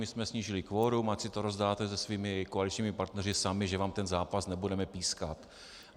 My jsme snížili kvorum, ať si to rozdáte se svými koaličními partnery sami, že vám ten zápas nebudeme pískat.